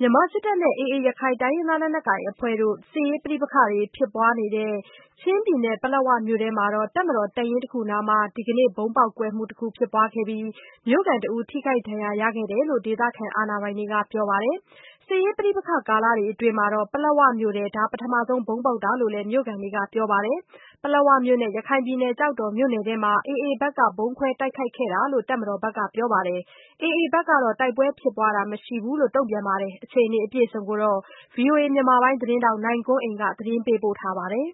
မြန်မာစစ်တပ်နဲ့ AAရခိုင်လက်နက်ကိုင်အဖွဲ့တို့ စစ်ရေးပဋိပက္ခဖြစ်ပွားနေတဲ့ ချင်းပြည်နယ် ပလက်ဝမြို့ထဲ တပ်မတော် တပ်ရင်းအနားမှာ ဒီကနေ့ ဗုံးပေါက်ကွဲမှု တခုဖြစ်ပွားခဲ့ပြီး မြို့ခံတဦးထိခိုက်ဒဏ်ရာရရှိခဲ့တယ်လို့ ဒေသခံအာဏာပိုင် တွေ ကပြောပါတယ်။ စစ်ရေး ပဋိပက္ခကာလအတွင်း ပလက်ဝမြို့ထဲ ပထမဆုံးဗုံးပေါက်တာလို့လဲ မြို့ခံတွေကပြောပါတယ်။ ပလက်ဝမြို့နဲ့ ရခိုင်ပြည်နယ်ကျောက်တော်မြို့နယ်အတွင်း AAဖက်က ဗုံးခွဲ တိုက်ခိုက်ခဲ့ကြောင်း တပ်မတော်ဖက်က ပြောပါ တယ်။ AAဖက်ကတော့ တိုက်ပွဲဖြစ်ပွားတာ မရှိကြောင်း ပြောဆိုပါတယ်။ ဒီအခြေအနေကို ဗွီအိုအေမြန်မာပိုင်းသတင်း ထောက် နိုင်ကွန်းအိန်ကနေ ဆက်သွယ်မေးမြန်း သတင်း ပေးပို့ထားပါတယ်။